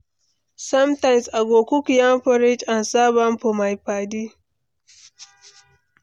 Sometimes, I go cook yam porridge and serve am for my padi